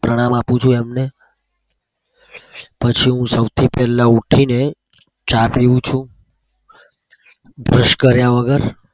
પ્રણામ આપું છુ એમને. પછી હું સૌથી પેલા ઉઠીને ચા પીવું છુ brush કર્યા વગર.